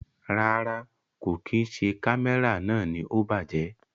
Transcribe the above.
Rárá, kò kí n ṣe Kámẹ́rà náà ni ó bàjẹ́.